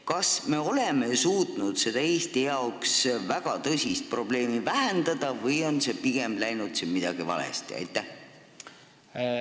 Kas me oleme suutnud seda Eesti jaoks väga tõsist probleemi vähendada või on pigem midagi valesti läinud?